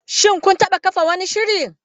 Shin kun taɓa kafa wani shiri?